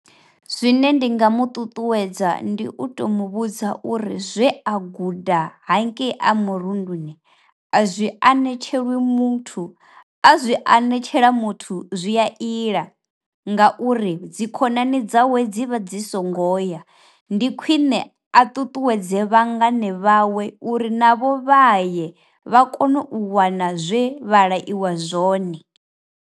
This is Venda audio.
Zwine ndi nga mu ṱuṱuwedza ndi u to mu vhudza uri zwe a guda hankeyi a murunduni a zwi anetshelwi uri muthu a zwi anetshela muthu zwi a iḽa ngauri dzi khonani dzawe dzi vha dzi songo ya, ndi khwine a tutuwedze vhangane vhawe uri navho vhaye vha kone u wana zwe vha laiwa zwone.